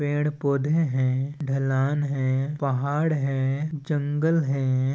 पेड़ पौधे है ढलान है पहाड़ है जंगल हैं।